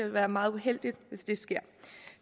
være meget uheldigt hvis det sker